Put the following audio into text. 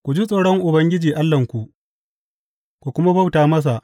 Ku ji tsoron Ubangiji Allahnku, ku kuma bauta masa.